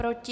Proti?